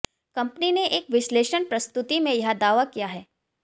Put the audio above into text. company ने एक विश्लेषण प्रस्तुति में यह दावा किया है